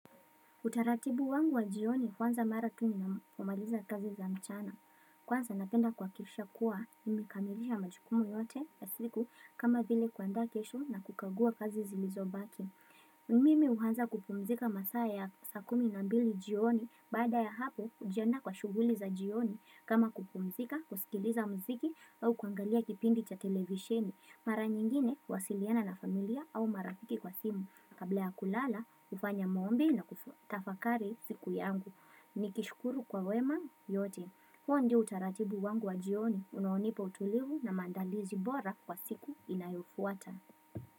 Utaratibu wangu wa jioni huanza mara tu napomaliza kazi za mchana. Kwanza napenda kuhakisha kuwa, nimekamilisha majukumu yote ya siku kama vile kuandaa kesho na kukagua kazi zilizobaki. Mimi huanza kupumzika masaa ya ya saa kumi na mbili jioni baada ya hapo ujiandaa kwa shughuli za jioni kama kupumzika, kusikiliza mziki au kuangalia kipindi cha televisheni. Mara nyingine, huwasiliana na familia au marafiki kwa simu, kabla ya kulala, hufanya maombi na kufatafakari siku yangu. Nikishukuru kwa wema yote. Huo ndio utaratibu wangu wa jioni, unaonipa utulivu na maandalizi bora kwa siku inayofuata.